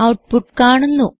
output കാണുന്നു